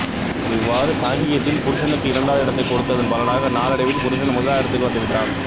இவ்வாறு சாங்கியத்தில் புருசனுக்கு இரண்டாவது இடத்தைக் கொடுத்ததன் பலனாக நாளடைவில் புருசன் முதலாவது இடத்துக்கு வந்துவிட்டான்